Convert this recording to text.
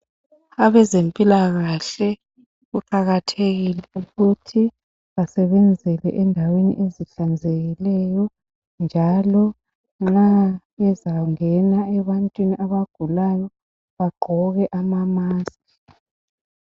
Abezempilakahle kuqakathekile ukuthi basebenzele endaweni ezihlanzekileyo njalo nxa bezangena ebantwini abagulayo , bagqoke amamaski.